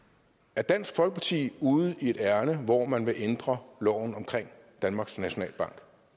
er dansk folkeparti ude i et ærinde hvor man vil ændre loven om danmarks nationalbank